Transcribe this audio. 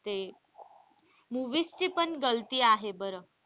ते movies ची पण आहे बर.